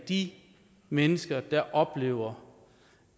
de mennesker der oplever